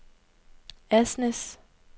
Asnæs